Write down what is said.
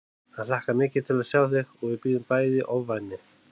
Hann hlakkar mikið til að sjá þig og við bíðum bæði í ofvæni